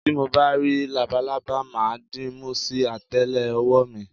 Tí mo bá rí labalábá, mà á dìímú sí àtẹ́lé ọwọ́ mi.